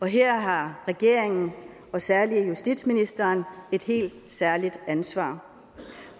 her har regeringen og særlig justitsministeren et helt særligt ansvar